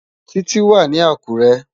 Titi wá ni Akure